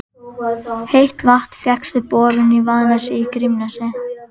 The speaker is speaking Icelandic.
Heitt vatn fékkst við borun í Vaðnesi í Grímsnesi.